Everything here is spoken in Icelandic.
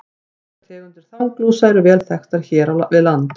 Margar tegundir þanglúsa eru vel þekktar hér við land.